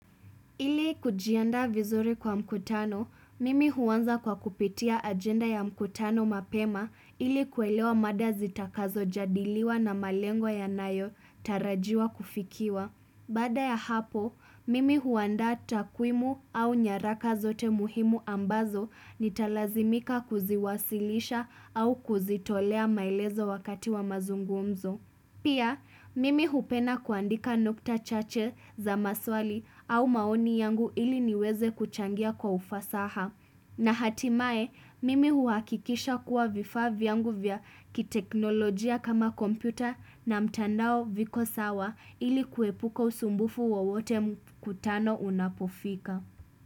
Ili kujiandaa vizuri kwa mkutano, mimi huanza kwa kupitia agenda ya mkutano mapema ili kuelewa mada zitakazojadiliwa na malengo yanayotarajiwa kufikiwa. Baada ya hapo, mimi huanda takwimu au nyaraka zote muhimu ambazo nitalazimika kuziwasilisha au kuzitolea maelezo wakati wa mazungumzo. Pia, mimi hupenda kuandika nukta chache za maswali au maoni yangu ili niweze kuchangia kwa ufasaha. Na hatimaye, mimi huhakikisha kuwa vifaa vyangu vya kiteknolojia kama kompyuta na mtandao viko sawa ili kuepuka usumbufu wowote mkutano unapofika.